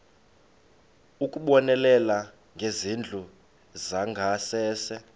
ukubonelela ngezindlu zangasese